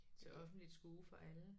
Til offentligt skue for alle